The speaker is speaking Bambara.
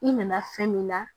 I nana fɛn min na